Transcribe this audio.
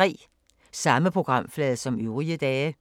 Samme programflade som øvrige dage